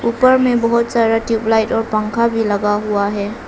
ऊपर में बहुत सारा ट्यूब लाइट और पंखा भी लगा हुआ है।